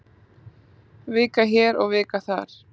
Vika hér og vika þar.